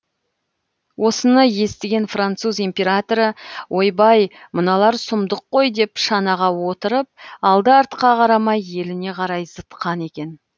осыны естіген француз императоры ойбай мыналар сұмдық қой деп шанаға отырып алды артқа қарамай еліне қарай зытқан екен